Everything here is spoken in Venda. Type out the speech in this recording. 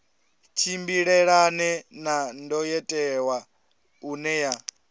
tshimbilelane na ndayotewa une wa